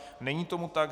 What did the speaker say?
Není tomu tak.